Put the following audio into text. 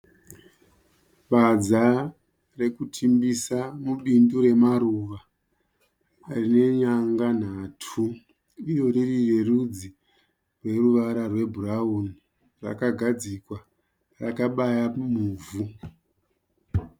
Badza rekutimbisa mubindu remaruva rine nyanga nhatu iro riri rerudzi rweruvara rwebhurawuni rakagadzikwa rakabaya muvhu.